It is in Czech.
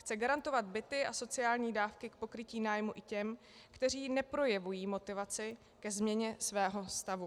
Chce garantovat byty a sociální dávky k pokrytí nájmu i těm, kteří neprojevují motivaci ke změně svého stavu.